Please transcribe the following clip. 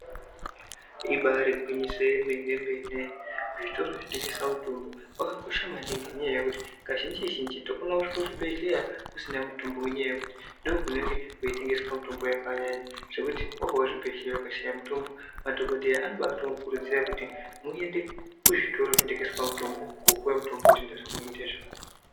Ibaari gwinyiso yemene mene, zvitoro zvinotengesa mitombo zvakakosha maningi ngenda yekuti kazhinji zhinji kacho tinogona kusvika kuzvibehleya kusina mutombo ngenda yekuti ndokunenge kweitengeswe mitombo yakanyanya zvekuti wabva kuzvibehleya ukashaya mutombo madhokodheya anobamukuridzira kuti muende kuzvitoro zvinotengeswa mitombo kuti zvitenda zvako. zvione kuita zvakanaka.